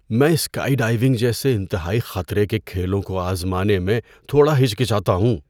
میں skydiving جیسے انتہائی خطرے کے کھیلوں کو آزمانے میں تھوڑا ہچکچاتا ہوں۔